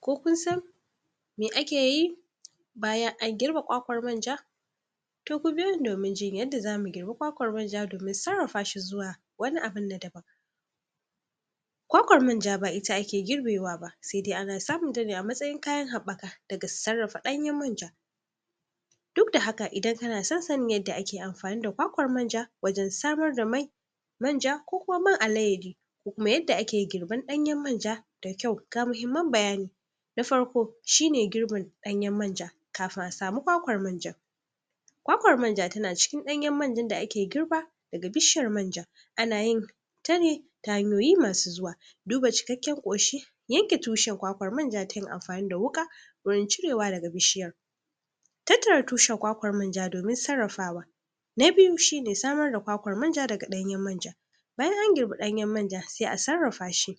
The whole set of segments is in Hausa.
ko kun san me akeyi bayan an girbe kwakwar manja toh ku biyo ni domin jin yadda zamu girbi kwakwar manja domin sarrafa shi zuwa wani abin na daban kwakwar manja ba ita ake girbewa ba sai dai ana samunta ne a matsayin kayan haɓaka daga sarrafa ɗanyen manja duk da haka idan kana son sannin yadda ake am.. fani da kwakwar manja wajen samar da man manja ko man alayyadi ko kuma yadda ake girban ɗanyen manja da kyau, ga mahimman bayani na farko shi ne girbin ɗanyen manja kafin a samu kwakwar manja kwakwar manja tana cikin ɗanyen manjan da ake girba daga bishiyar manja ana yin tane ta hanyoyi masu zuwa duba cikakken ƙoshi yanke tushar kwakwar manja ta yin amfani da wuƙa gurin cirewa daga bishiyar tattara tushan kwakwar manja domin sarrafawa na biyu shi ne, samar da kwakwar manja daga ɗanyen manja bayan an girbi ɗanyen manja sai a sarrafa shi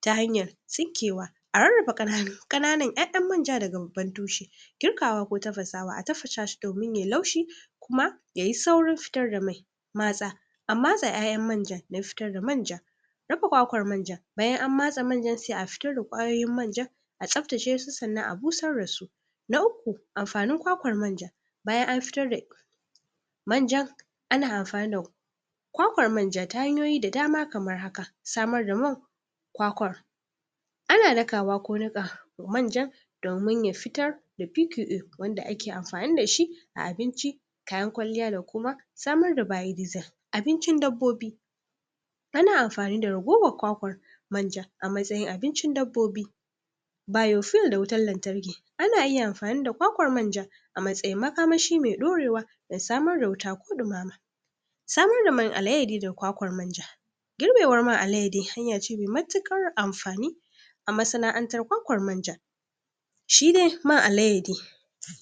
ta hanyar tsinkewa a rarraba ƙananu ƙananan ƴaƴan manja daga babban tushe girkawa ko tafasawa, a tafasa shi domin yayi laushi ma yayi saurin fitar da mai matsa a matse ƴaƴan manjan na fitar da manja rufe kwakwar manjan bayan an matse manjar sai a fitar da ƙwayoyin manjan a tsaftace su sannan a busar dasu na uku amfanin kwakwar manja bayan an fitar da manjan ana amfani da kwakwar manja ta hanyoyi da dama kamar haka samar da man kwakwar ana dakawa ko niƙa manjan domin ya fitar da wanda ake amfani dashi a abinci kayan kwalliya da kuma samar da abincin dabbobi ana amfani da ragowar kwakwar manja a matsayin abincin dabbobi biofuel da wutan lantarki ana iya amfani da kwakwar manja a matsayin makamashi mai ɗorewa da samar da wuta ko ɗu.. samar da man alayyadi da kwakwar manja girbewar man alayyadi hanya ce mai matuƙar amfani a masana'antar kwakwar manja shi dai man alayyadi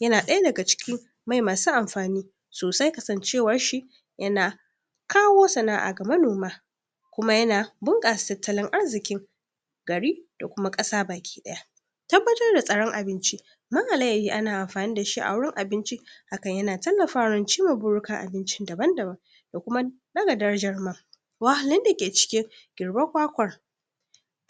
yana ɗaya daga cikin mai masu amfani sosai, kasancewar shi yana kawo sana'a ga manoma kuma yana bunƙasa tattalin arzikin gari da kuma ƙasa baki ɗaya tabbatar da tsaron abinci man alayyadi ana amfani dashi a wurin abinci hakan yana tallafawar cimma burikan abincin daban-daban da kuma ɗaga darajar man wahlun dake cikin girbar kwakwar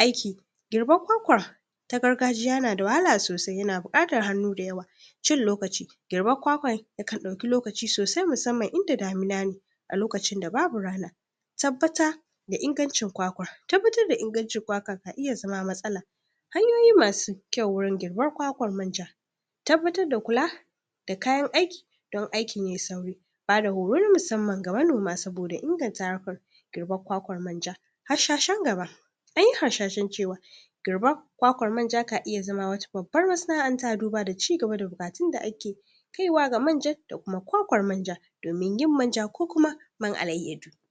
aiki girbar kwakwar ta gargajiya yanada wahala sosai yana buƙatar hannu da yawa cin lokaci girbar kwakwar yakan ɗauki lokaci sosai musamman in da damina ne a lokacin da babu rana tabbata da ingancin kwakwar tabbatar da ingancin kwakwar ka iya zama matsala kalmomi masu kyau wurin girbar kwakwar manja tabbatar da kula da kayan aiki don aikin yayi sauri bada horo na musamman ga manoma saboda inganta harkar girbar kwakwar manja hashashen gaba anyi harshashen cewa girbar kwakwar manja ka iya zama wata babban masana'anta duba da cigaba da fatan da ake kaiwa ga manjan da kuma kwakwar manjan domin yin manja ko kuma man alayyadu